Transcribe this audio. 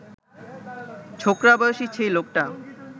ছোকরা বয়সী সেই লোকটা